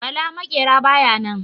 Bala maƙera baya nan.